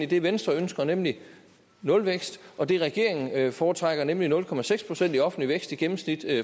det venstre ønsker nemlig nulvækst og det regeringen foretrækker nemlig nul procent i offentlig vækst i gennemsnit